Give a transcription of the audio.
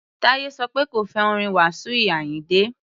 Táyé sọ pé òun ò fẹ́ orin Wasiu Ayinde.